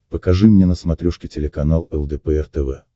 покажи мне на смотрешке телеканал лдпр тв